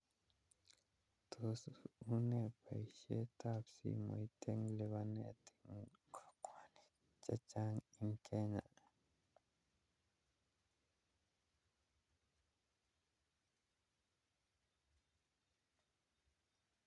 Tos une baishet ab simoit akitya ak lubanet en kokwani chechang